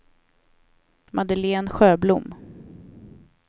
Madeleine Sjöblom